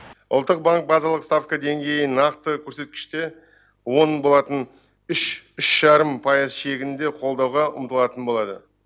ұлттық банк базалық ставка деңгейін нақты көрсеткіште он болатын үш үш жарым пайыз шегінде қолдауға ұмтылатын болады